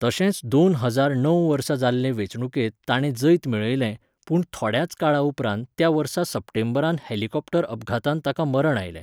तशेंच दोन हजार णव वर्सा जाल्ले वेंचणुकेंत ताणें जैत मेळयलें, पूण थोड्याच काळा उपरांत त्या वर्सा सप्टेंबरांत हेलिकॉप्टर अपघातांत ताका मरण आयलें.